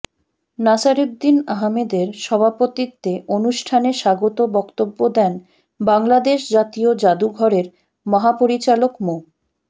নাসির উদ্দিন আহমেদের সভাপতিত্বে অনুষ্ঠানে স্বাগত বক্তব্য দেন বাংলাদেশ জাতীয় জাদুঘরের মহাপরিচালক মো